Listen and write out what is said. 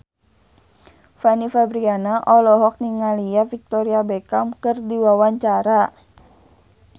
Fanny Fabriana olohok ningali Victoria Beckham keur diwawancara